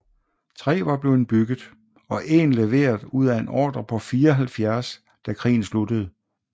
Tre var blevet bygget og en leveret ud af en ordre på 74 da krigen sluttede